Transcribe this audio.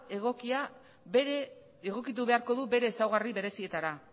egokitu beharko du bere ezaugarri berezietara